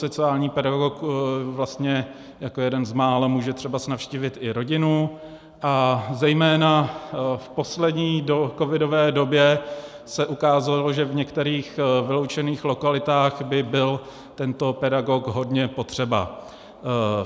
Sociální pedagog vlastně jako jeden z mála může třeba navštívit i rodinu, a zejména v poslední covidové době se ukázalo, že v některých vyloučených lokalitách by byl tento pedagog hodně potřeba.